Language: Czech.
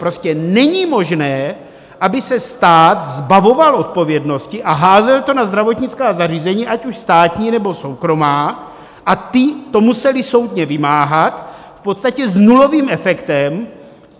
Prostě není možné, aby se stát zbavoval odpovědnosti a házel to na zdravotnická zařízení, ať už státní, nebo soukromá, a ta to musela soudně vymáhat v podstatě s nulovým efektem.